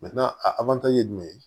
a ye jumɛn ye